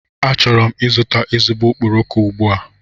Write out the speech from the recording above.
Achọrọ m ịzụta ezigbo okporoko ugbu a.